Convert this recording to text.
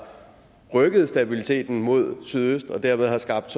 rykket stabiliteten mod sydøst og dermed har skabt